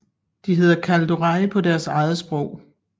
De hedder Kaldorei på deres eget sprog